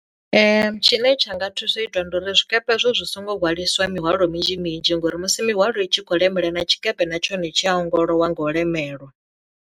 Tshine tsha nga thusa u itwa ndi uri zwikepe hezwo zwi songo hwaliswa mihwalo minzhi minzhi ngori musi mihwalo i tshi khou lemela na tshikepe na tshone tshi a ongolowa ngo lemelwa.